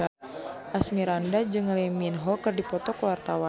Asmirandah jeung Lee Min Ho keur dipoto ku wartawan